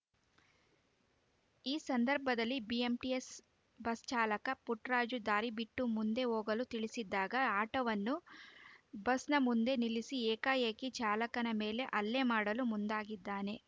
ಈ ಸಂದರ್ಭದಲ್ಲಿ BMTC bus ಚಾಲಕ ಪುಟ್ಟರಾಜು ದಾರಿ ಬಿಟ್ಟು ಮುಂದೆ ಹೋಗಲು ತಿಳಿಸಿದಾಗ ಆಟೋವನ್ನು ಬಸ್‌ನ ಮುಂದೆ ನಿಲ್ಲಿಸಿ ಏಕಾಏಕಿ ಚಾಲಕನ ಮೇಲೆ ಹಲ್ಲೆ ಮಾಡಲು ಮುಂದಾಗಿದ್ದಾನೆ